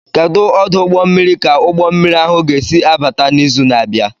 Kedu ọdụ ụgbọ mmiri ka ụgbọ mmiri ahụ ga-esi abata n'izu na-abịa?